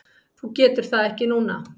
Þú getur það ekki núna?